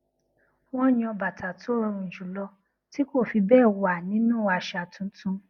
wón yan bàtà tó rọrùn jùlọ tí kò fi béè wà nínú àṣà tuntun